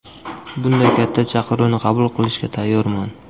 Bunday katta chaqiruvni qabul qilishga tayyorman.